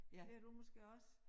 Det har du måske også